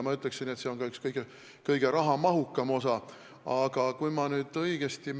Ma ütleksin, et see on ka üks kõige rahamahukamaid osi.